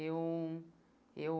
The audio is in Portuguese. Eu, eu...